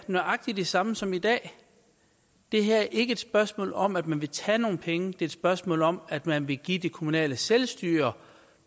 nøjagtig de samme som i dag det her er ikke et spørgsmål om at man vil tage nogle penge det er et spørgsmål om at man vil give det kommunale selvstyre